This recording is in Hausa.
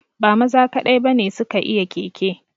Ba maza kaɗai ba ne su ka iya keke